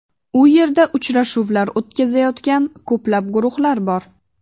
U yerda uchrashuvlar o‘tkazayotgan ko‘plab guruhlar bor.